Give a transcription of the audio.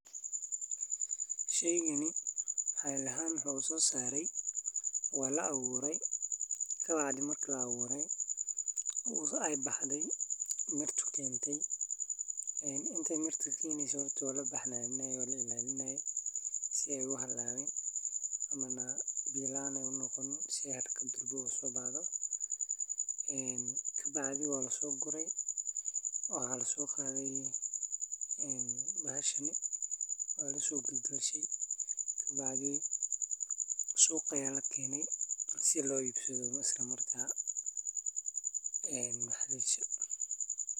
Sheygaani maxli ahan wuxu so saare walaa abuure kaaha maarki laa abure eey baxdaay mirta eey kentay inta mirta ka keneyso horta walaa baxnaninaye wala ilaliinaye sii eey uu halawiin amanaa biya laan eey uu noqonin sii eey haraka dhaqso eey uu baxdo een kabacdi wala so guraay wala so qaday een bahashani wala so galgashay kaa bacdi suqa aya la kenay sii loo ibsaado isla maarka een maxa la dihi jiire